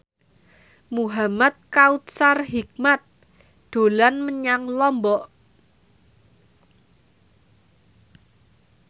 Muhamad Kautsar Hikmat dolan menyang Lombok